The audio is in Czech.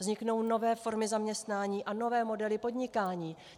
Vzniknou nové formy zaměstnání a nové modely podnikání.